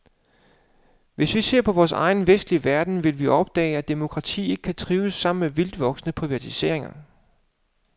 Hvis vi ser på vor egen vestlige verden, vil vi opdage, at demokrati ikke kan trives sammen med vildtvoksende privatisering.